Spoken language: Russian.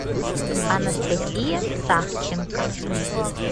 анастасия савченко